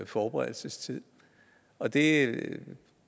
forberedelsestid og det